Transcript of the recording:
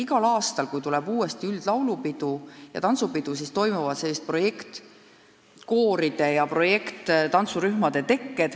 Igal aastal, kui ees seisab uus üldlaulupidu ja -tantsupidu, tekivad projektikoorid ja -tantsurühmad.